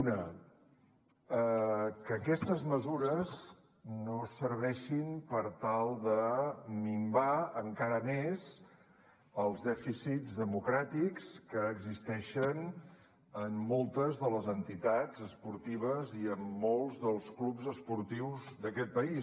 una que aquestes mesures no serveixin per tal de minvar encara més els dèficits democràtics que existeixen en moltes de les entitats esportives i en molts dels clubs esportius d’aquest país